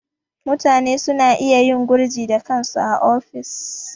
Mutane suna iya yin gurji da kansu a ofis.